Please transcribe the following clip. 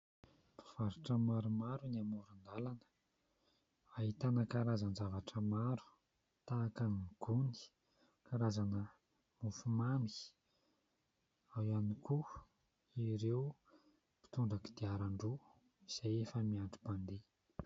Mpivarotra maromaro eny amoron-dalana. Ahitana karazan-javatra maro tahaka ny gony, karazana mofomamy. Ao ihany koa ireo mpitondra kodiarandroa izay efa miandry mpandeha.